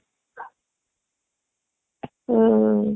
ହୁଁ